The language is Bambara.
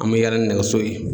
An bɛ yaala ni nɛgɛso ye.